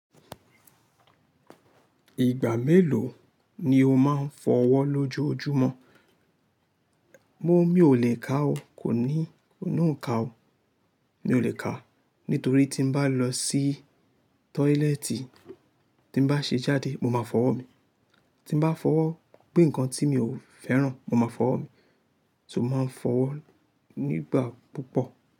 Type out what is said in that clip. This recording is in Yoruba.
Ìgbà mélòó ni o máa ń fọ́ ọwọ́ lójojúmọ́? Mo, mi ò lè ka o. Kò ní, kò ní ó n ka o Mi ò lè ka o. Nítorí tí ń bá lọ sí tọ́ílẹ́ẹ́tì tí bá ṣe jáde, mo máa fọwọ́ mi. Tí bá fọwọ́ gbé nǹkan tí mi ò fẹ́ràn, mo máa fọwọ́ mi. So mo máa ń fọwọ́ nígbà púpọ̀.